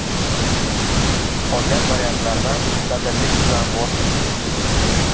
Qolgan variantlardan dadillik bilan voz keching.